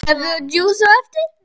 Kaffi og djús á eftir.